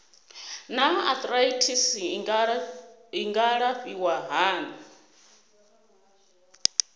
naa arthritis i nga alafhiwa hani